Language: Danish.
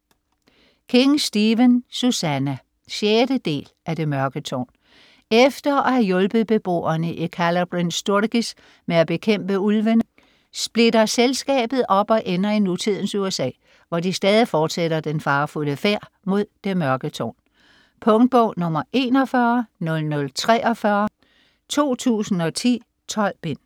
King, Stephen: Susannah 6. del af Det mørke tårn. Efter at have hjulpet beboerne i Calla Bryn Sturgis med at bekæmpe ulvene, splitter selskabet op, og ender i nutidens USA, hvor de stadig fortsætter den farefulde færd mod Det Mørke tårn. Punktbog 410043 2010. 12 bind.